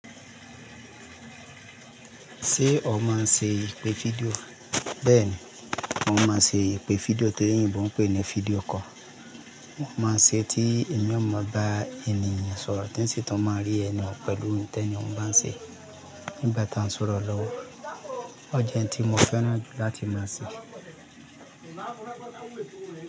Ṣé o máa ń ṣe ìpè fídíò? Bẹ́ẹ̀ ni, mo máa ń ṣe ìpè fídíò tí èyínbo ń pè ní fídíò call. Mo máa ń ṣe é tí èmi ò mọ bá ènìyàn sọ̀rọ̀ tinsì tún máa rí ẹni oun pẹ̀lú ihin tí ẹni ohun bá ń ṣe é nígbà tí a ń sọ̀rọ̀ lọ́wọ́. Ọ jẹ́ ihin tí mo fẹ́ràn jù láti máa ṣe é.